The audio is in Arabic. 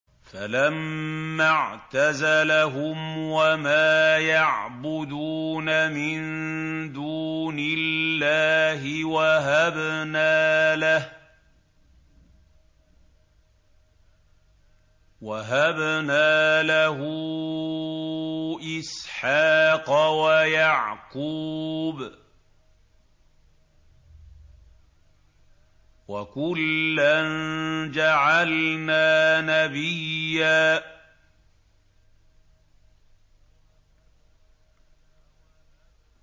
فَلَمَّا اعْتَزَلَهُمْ وَمَا يَعْبُدُونَ مِن دُونِ اللَّهِ وَهَبْنَا لَهُ إِسْحَاقَ وَيَعْقُوبَ ۖ وَكُلًّا جَعَلْنَا نَبِيًّا